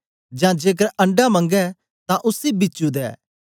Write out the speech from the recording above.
जां जेकर अंडा मंगै तां उसी बिचु दे